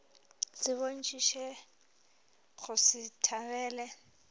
se bontšhitše go se thabele